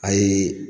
A ye